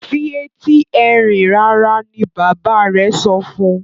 fi Ẹti Ẹrin rara! ní bàbá rẹ sọfún.